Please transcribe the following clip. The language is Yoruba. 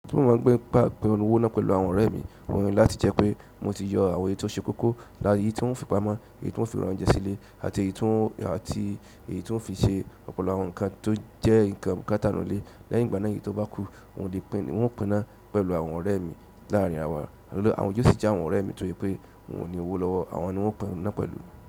Tó mo máa gbé pàpò owó náà pẹ̀lú àwọn ọ̀rẹ́ mi mo ni láti jẹ́ pé mo ti yọ àwọn èye tó ṣe kókó lára èyí tí wọ́n fi pamọ́, èyí tí wọ́n fi ra oúnjẹ sílẹ̀ àti èyí tí wọ́n fi ṣe ọ̀pọ̀lọpọ̀ àwọn nǹkan tó jẹ́ nǹkan bukátà lo ilé. Lẹ́yìn ìgbà náà èyí tó bá kú, wọn ò lè pín náà pẹ̀lú àwọn ọ̀rẹ́ mi láàrin wa. Àwọn yọ́ò sì àwọn ọ̀rẹ́ mi torí pé wọn ò ní owó lọ́wọ́, àwọn ni wọn o pín náà pẹ̀lú.